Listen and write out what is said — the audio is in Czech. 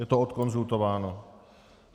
Je to odkonzultováno.